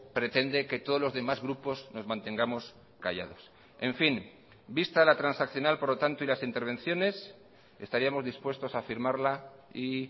pretende que todos los demás grupos nos mantengamos callados en fin vista la transaccional por lo tanto y las intervenciones estaríamos dispuestos a firmarla y